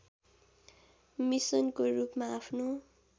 मिसनको रूपमा आफ्नो